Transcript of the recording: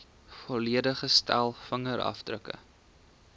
volledige stel vingerafdrukke